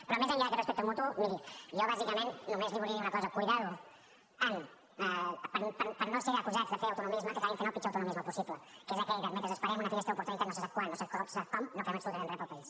però més enllà d’aquest respecte mutu miri jo bàsicament només li volia dir una cosa compte amb no ser acusats de fer autonomisme que acabin fent el pitjor autonomisme possible que és aquell de mentre esperem una finestra d’oportunitat no se sap quan no se sap com no fem absolutament res per al país